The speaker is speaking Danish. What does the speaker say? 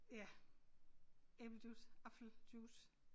Ja æblejuice apfeljuice